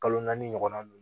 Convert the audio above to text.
Kalo naani ɲɔgɔnna dun